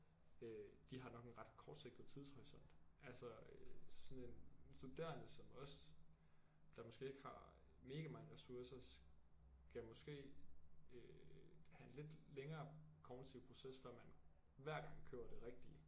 Øh de har nok en ret kortsigtet tidshorisont altså øh sådan en studerende som os der måske ikke har mega mange ressourcer skal måske øh have en lidt længere kognitiv proces før man hver gang køber det rigtige